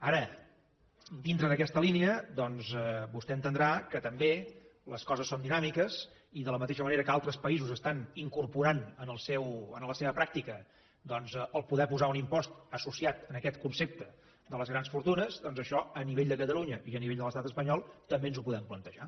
ara dintre d’aquesta línia doncs vostè entendrà que també les coses són dinàmiques i de la mateixa manera que altres països estan incorporant en la seva pràctica poder posar un impost associat a aquest concepte de les grans fortunes això a nivell de catalunya i a nivell de l’estat espanyol també ens ho podem plantejar